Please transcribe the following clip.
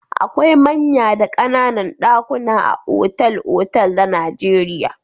Akwai manya da ƙananan ɗakuna a otal-otal na Najeriya.